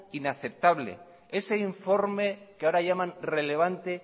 inaceptable ese informe que ahora llaman relevante